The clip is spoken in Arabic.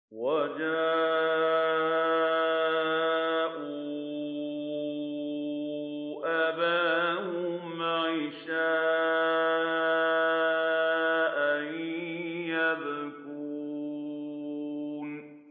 وَجَاءُوا أَبَاهُمْ عِشَاءً يَبْكُونَ